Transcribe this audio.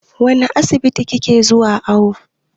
Wane asibiti ki ke zuwa awo?